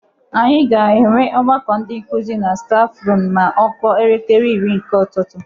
Anyi ga-enwe ọgbakọ ndi nkuzi na stafrum ma ọ kụọ elekere iri nke ụtụtụ.